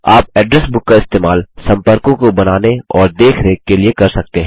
आप address book का इस्तेमाल सम्पर्कों को बनाने और देखरेख के लिए कर सकते हैं